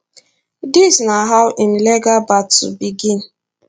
dis na how im legal battle begin